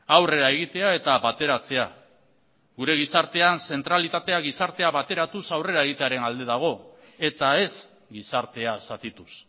aurrera egitea eta bateratzea gure gizartean zentralitatea gizartea bateratuz aurrera egitearen alde dago eta ez gizartea zatituz